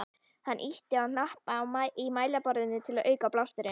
Hann ýtti á hnappa í mælaborðinu til að auka blásturinn.